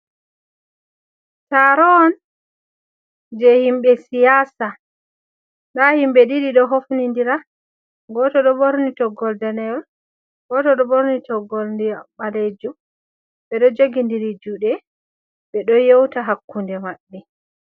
Taro on je himɓe siyasa nda himɓe ɗiɗi ɗo hofnidira. Goto ɗo ɓorni toggowol danewol, goto ɗo ɓorni toggowol ndiyam ɓalejum. Ɓeɗo jogi'ndiri juɗe ɓeɗo yeuta hakkunde maɓɓe.